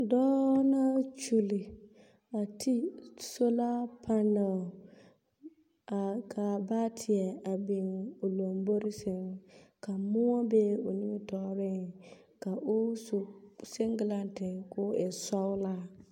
Dɔɔ na kyili, a ti sola panɛl, a kaa baateɛ a biŋ o lombori sɛŋ ka moɔ be o nimitɔɔreŋ ka o su seŋglente koo e sɔgelaa.